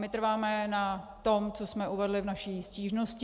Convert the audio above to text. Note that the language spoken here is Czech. My trváme na tom, co jsme uvedli v naší stížnosti.